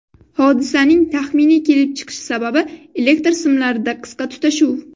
Hodisaning taxminiy kelib chiqish sababi elektr simlarida qisqa tutashuv.